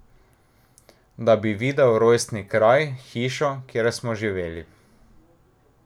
Da bi videl rojstni kraj, hišo, kjer smo živeli.